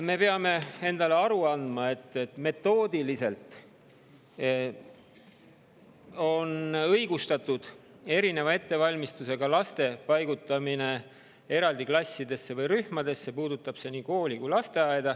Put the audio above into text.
Me peame endale aru andma, et erineva ettevalmistusega laste paigutamine eraldi klassidesse või rühmadesse on metoodiliselt õigustatud.